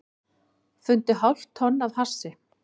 Fundu hálft tonn af hassi